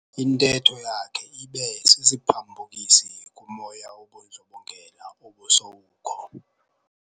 Intetho yakhe ibe sisiphambukisi kumoya wobundlobongela obusowukho.